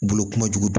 Bolo kojugu